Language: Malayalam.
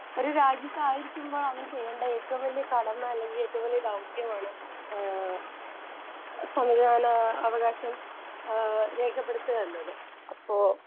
സ്പീക്കർ 1 ഒരു രാജ്യത്തായിരിക്കുമ്പോളവൻ ചെയ്യേണ്ട ഏറ്റവും വലിയ കടമ അല്ലെങ്കിൽ ഏറ്റവും വലിയ ദൗത്യമാണ് ഏഹ് സമ്മതിദാന അവകാശം ആഹ് രേഖപ്പെടുത്തുക എന്നത്.ഇപ്പൊ